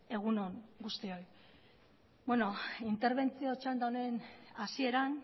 egun on guztioi interbentzio txanda honen hasieran